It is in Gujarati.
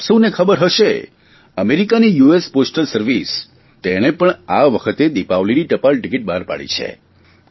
આપ સૌને ખબર હશે અમેરિકાની યુએસ પોસ્ટલ સર્વિસ તેણે પણ આ વખતે દિપાવલીની ટપાલ ટીકીટ બહાર પાડી છે